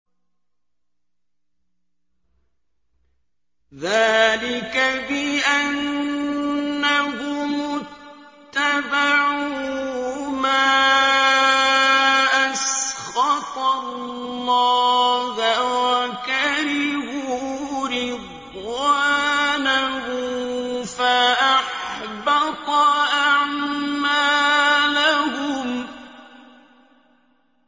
ذَٰلِكَ بِأَنَّهُمُ اتَّبَعُوا مَا أَسْخَطَ اللَّهَ وَكَرِهُوا رِضْوَانَهُ فَأَحْبَطَ أَعْمَالَهُمْ